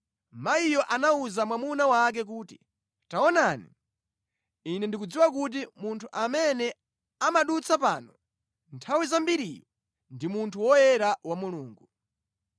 Mayiyo anawuza mwamuna wake kuti, “Taonani, ine ndikudziwa kuti munthu amene amadutsa pano nthawi zambiriyu ndi munthu woyera wa Mulungu.